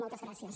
moltes gràcies